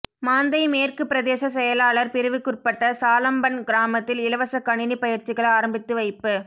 மாந்தை மேற்கு பிரதேசச் செயலாளர் பிரிவுக்குற்பட்ட சாளம்பன் கிராமத்தில் இலவச கணினி பயிற்சிகள் ஆரம்பித்து வைப்பு